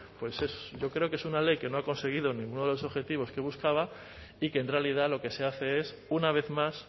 pues es yo creo que es una ley que no ha conseguido ninguno de los objetivos que buscaba y que en realidad lo que se hace es una vez más